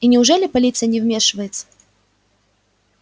и неужели полиция не вмешивается